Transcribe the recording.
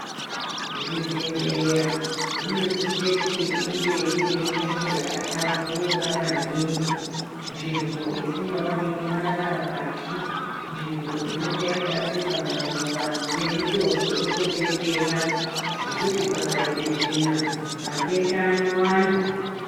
Zvibhedhlera zvinosise kuti inge irinzvimbo yakahlamburuka maningi , nzvimbo isingaoneki marara pashi ,nzvimbo inonga yakasimwa maruwa nemitombo inotodetsera , ngekuti pakaite tsvina matenda anowanda.